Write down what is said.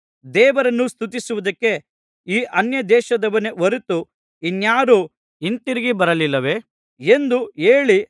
ದೇವರನ್ನು ಸ್ತುತಿಸುವುದಕ್ಕೆ ಈ ಅನ್ಯದೇಶದವನೇ ಹೊರತು ಇನ್ನಾರೂ ಹಿಂತಿರುಗಿ ಬರಲಿಲ್ಲವೇ ಎಂದು ಹೇಳಿ